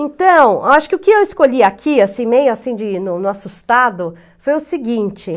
Então, acho que o que eu escolhi aqui, meio assim, de no no assustado, foi o seguinte.